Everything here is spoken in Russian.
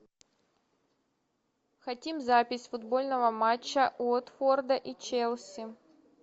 хотим запись футбольного матча уотфорда и челси